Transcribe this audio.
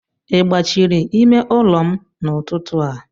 I gbachiri ime ụlọ m n'ụtụtụ a?